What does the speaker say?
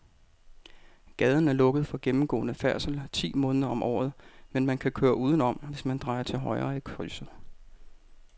Gaden er lukket for gennemgående færdsel ti måneder om året, men man kan køre udenom, hvis man drejer til højre i krydset.